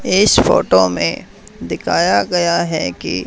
इस फोटो में देखाया गया है कि--